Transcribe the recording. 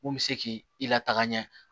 Mun bɛ se k'i lataga ɲɛ